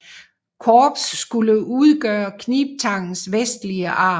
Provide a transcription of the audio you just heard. Korps skulle udgøre knibtangens vestlige arm